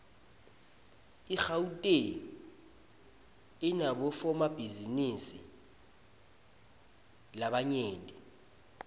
igauteng inabofomabhizinisi labanyent